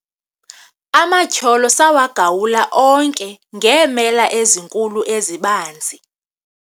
amatyholo sawagawula onke ngeemela ezinkulu ezibanzi